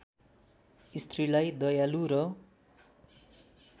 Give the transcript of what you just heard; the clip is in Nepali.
स्त्रीलाई दयालु र